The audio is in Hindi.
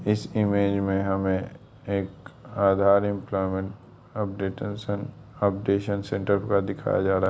इस इमेज में हमें एक Aadhaar employment updatation updation centre पूरा दिखाया जा रहा है।